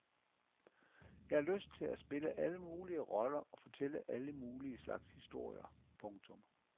Jeg har lyst til at spille alle mulige roller og fortælle alle mulige slags historier. punktum